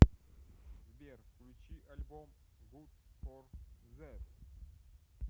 сбер включи альбом гуд фор зет